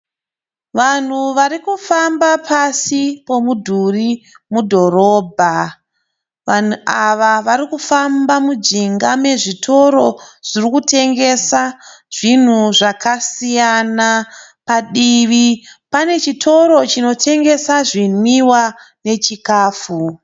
Vanhu vari kufamba pasi pomudhuri mudhorobha. Vanhu ava vari kufamba mujinga mezvitoro zvinotengesa zvinhu zvakasiyana. Padivi pane chitoro chinotengesa zvinwiwa nechikafu.